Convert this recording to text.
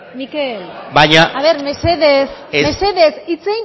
mikel baina mesedez mesedez hitz